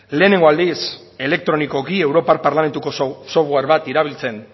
lehenengo aldiz elektronikoki europar parlamentuko software bat erabiltzen